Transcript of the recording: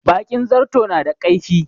Bakin zarto na da kaifi.